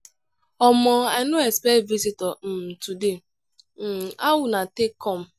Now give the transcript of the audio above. omo i no expect visitor um today um how una take come?